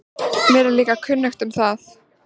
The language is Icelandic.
Mér er líka kunnugt um það.